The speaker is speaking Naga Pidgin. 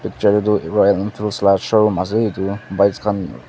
la showroom ase edu bikes khan--